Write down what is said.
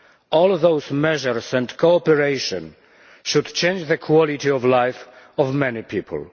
All those measures and cooperation should change the quality of life of many people.